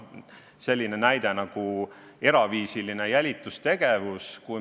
Selline näide nagu eraviisiline jälitustegevus.